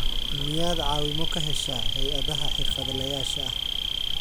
Miyaad caawimo ka heshaa hay'adaha xirfadlayaasha ah?